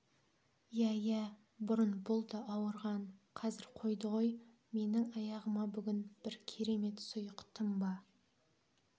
иә иә бұрын бұл да ауырған қазір қойды ғой менің аяғыма бүгін бір керемет сұйық тұнба